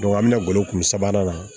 an bɛ na golo sabanan na